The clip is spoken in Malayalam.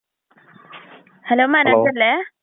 ഹലോ.